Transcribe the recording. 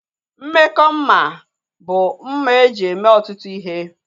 Mmekọ mma bụ mma eji eme ọtụtụ ihe